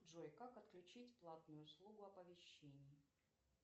джой как отключить платную услугу оповещений